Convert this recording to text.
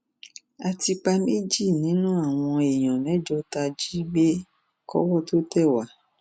a ti pa méjì nínú àwọn èèyàn mẹjọ tá a jí gbé kọwọ tóo tẹ wá